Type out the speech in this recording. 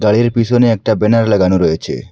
গাড়ির পিসনে একটা ব্যানার লাগানো রয়েছে।